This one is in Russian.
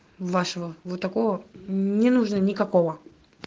вашего вот такого не нужно никакого